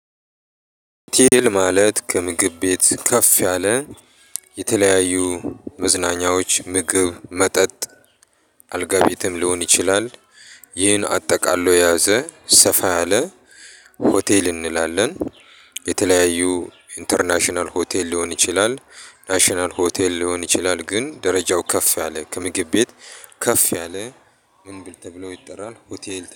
ሆቴል ማለት ከምግብ ቤት ከፍ ያለ፤ የተለያዩ መዝናኛዎች፣ ምግብ፣ መጠጥ፣ አልጋ ቤትም ሊሆን ይችላል። ይሄን አጠቃሎ የያዘ፤ ሰፋ ያለ ሆቴል እንላለን። የተለያዩ ኢንተርናሽናል ሆቴል ሊሆን ይችላል፤ ናሽናል ሆቴል ሊሆን ይችላል፤ ግን ደረጃው ከፍ ያለ፤ ከምግብ ቤት ከፍ ያለ ምን ተብሎ ይጠራል? ሆቴል